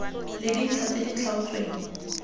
le dintlha tse di tlhaotsweng